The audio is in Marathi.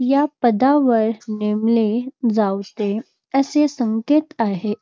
या पदावर नेमले जावते असा संकेत आहे.